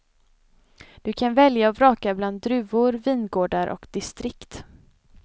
Du kan välja och vraka bland druvor, vingårdar och distrikt.